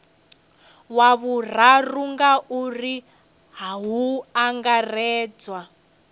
wa vhuraru ngauri hu angaredzwa